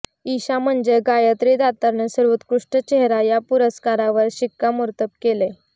ईशा म्हणजे गायत्री दातारनं सर्वोत्कृष्ट चेहरा या पुरस्कारावर शिक्कामोर्तब केलंय